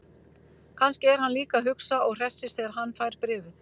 Kannski er hann líka að hugsa og hressist þegar hann fær bréfið.